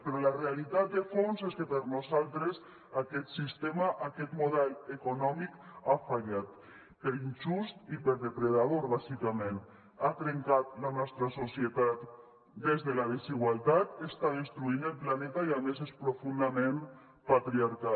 però la realitat de fons és que per nosaltres aquest sistema aquest model econòmic ha fallat per injust i per depredador bàsicament ha trencat la nostra societat des de la desigualtat està destruint el planeta i a més és profundament patriarcal